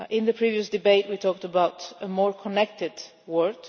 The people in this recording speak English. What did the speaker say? In the previous debate we talked about a more connected world.